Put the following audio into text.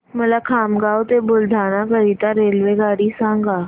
मला खामगाव ते बुलढाणा करीता रेल्वेगाडी सांगा